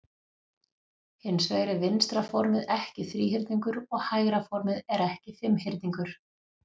Hins vegar er vinstra formið ekki þríhyrningur og hægra formið er ekki fimmhyrningur.